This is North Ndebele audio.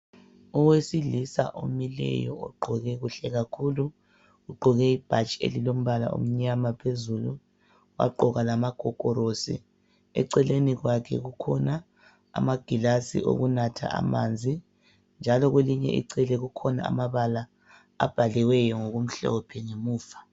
Owesilisa omileyo ogqoke kuhle kakhulu ugqoke ibhatshi omnyama phezulu wagqoka magogorosi. Eceleni kwakhe kukhona amagilasi okunatha amanzi njalo kwelinye icele kukhona amabala abhaliweyo ngokumhlophe ngemuva.